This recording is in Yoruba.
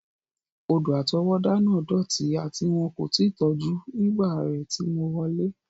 Odò-àtọwọ́dá náà dọti ati won ko ti tọju nígbà rẹ ti mo wọlẹ́.